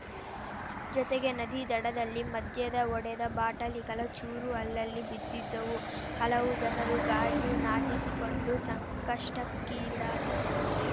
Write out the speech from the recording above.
ಜೊತೆಗೆ ನದಿ ದಡದಲ್ಲಿ ಮದ್ಯದ ಒಡೆದ ಬಾಟಲಿಗಳ ಚೂರು ಅಲ್ಲಲ್ಲಿ ಬಿದ್ದಿದ್ದವು ಹಲವು ಜನರು ಗಾಜು ನಾಟಿಸಿಕೊಂಡು ಸಂಕಷ್ಟಕ್ಕೀಡಾದರು